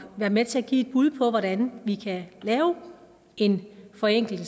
være med til at give et bud på hvordan vi kan lave en forenkling